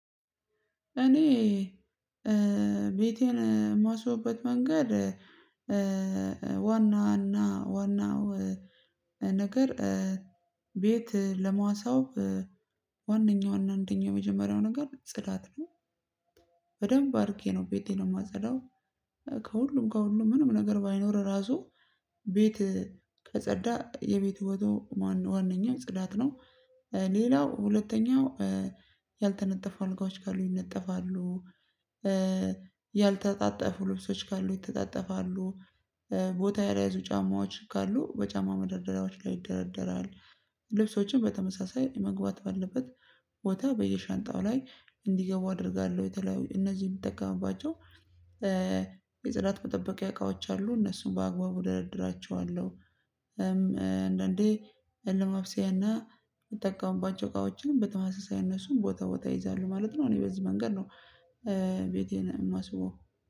እኔ ቤቴን ማስውበት መንገድ ዋና እና ዋና ዋናው ነገር ቤት ለማስዋብ ዋነኛው እና አንደኛው የመጀመሪያው ነገር ጽዳት ነው። በደንብ አርጌ ነው ቤቴን ማጸዳው። ከሁሉም ከሁሉም ምንም ነገር ባይኖር ራሱ ቤት ከጸዳ ቤቱ ዋናኛው ጽዳት ነው። ሌላው ሁለተኛው ያልተነጠፉ አልጋዎች ካሉ ይነጠፋሉ። ያልተጣጠፉ ልብሶች ካሉ ይተጣጠፋሉ። ቦታ ያልያዙ ጫማዎች ካሉ በጫማ መደርደሪያዎች ላይ ይደረደራሉ። ልብሶችም በተመሳሳይ መግባት ባለበት ቦታ በየሻንጣው ላይ እንዲገቡ አደርጋለሁ እነዚህ የምጠቀምባቸው። የጽዳት መጠበቂያ እቃዎች አሉ እነሱን በአግባቡ እደርድራቸዋለሁ። አንዳንዴ ለማፍስያና ምጠቀሙባቸው እቃዎችን በተመሳሳይ ነሱን ቦታ ቦታ ይይዛሉ ማለት ነው። እኔ በዚህ መንገድ ነው። ቤቴን ማስበው